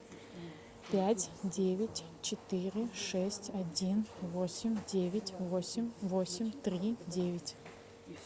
пять девять четыре шесть один восемь девять восемь восемь три девять